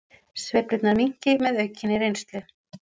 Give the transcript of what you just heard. Sveiflurnar minnki með aukinni reynslu